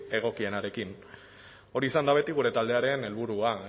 egokienarekin hori izan da beti gure taldearen helburua